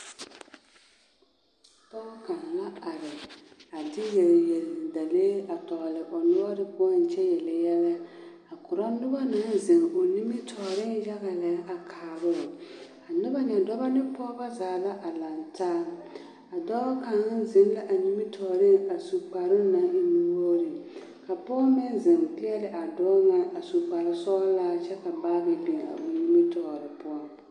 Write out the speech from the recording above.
Pɔge kaŋa la are a de yelyeli dalee a tɔgele o noɔre poɔŋ kyɛ yele yɛlɛ a korɔ noba naŋ zeŋ o nimitɔɔreŋ yaga lɛ a kaaroo, a noba nyɛ dɔbɔ ne pɔgeba zaa la a lantaa. A dɔɔ kaŋa zeŋ la a nimitɔɔreŋ a su kparoŋ naŋ e nu-wogiri, ka pɔge meŋ zeŋ peɛle a dɔɔ ŋa a su kpare sɔgelaa kyɛ ka baagi biŋ a o nimitɔɔre poɔ.